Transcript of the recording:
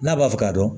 N'a b'a fɛ ka dɔn